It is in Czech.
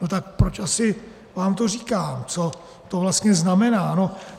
No tak proč asi vám to říkám, co to vlastně znamená?